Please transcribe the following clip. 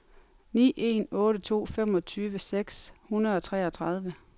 ni en otte to femogtyve seks hundrede og treogtredive